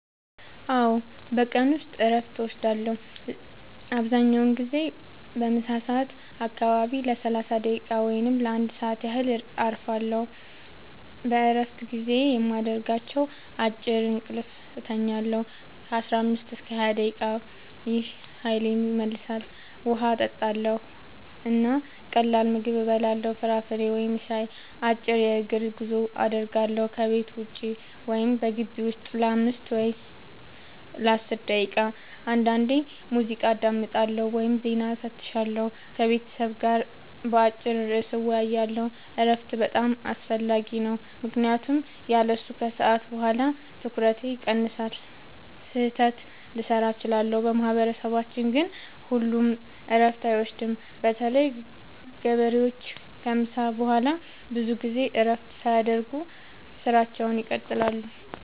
አዎ፣ በቀን ውስጥ እረፍት እወስዳለሁ። አብዛኛውን ጊዜ በምሳ ሰዓት አካባቢ ለ30 ደቂቃ ወይም ለ1 ሰዓት ያህል እረፋለሁ። በእረፍት ጊዜዬ የማደርጋቸው፦ · አጭር እንቅልፍ እተኛለሁ (15-20 ደቂቃ) – ይህ ኃይሌን ይመልሳል። · ውሃ እጠጣለሁ እና ቀላል ምግብ እበላለሁ (ፍራፍሬ ወይም ሻይ)። · አጭር የእግር ጉዞ አደርጋለሁ – ከቤት ውጭ ወይም በግቢው ውስጥ ለ5-10 ደቂቃ። · አንዳንዴ ሙዚቃ አዳምጣለሁ ወይም ዜና እፈትሻለሁ። · ከቤተሰብ ጋር በአጭር ርዕስ እወያያለሁ። እረፍት በጣም አስፈላጊ ነው ምክንያቱም ያለሱ ከሰዓት በኋላ ትኩረቴ ይቀንሳል፣ ስህተት ልሠራ እችላለሁ። በማህበረሰባችን ግን ሁሉም እረፍት አይወስዱም – በተለይ ገበሬዎች ከምሳ በኋላ ብዙ ጊዜ እረፍት ሳያደርጉ ሥራቸውን ይቀጥላሉ።